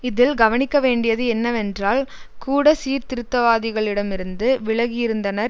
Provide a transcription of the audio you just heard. இதில் கவனிக்கவேண்டியது என்னவென்றால் கூட சீர்திருத்தவாதிகளிடமிருந்து விலகியிருந்தனர்